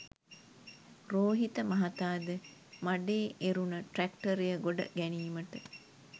රෝහිත මහතාද මඬේ එරුන ට්‍රැක්ටරය ගොඩ ගැනීමට